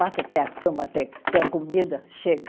Bata até a cama até, até a comida, chega.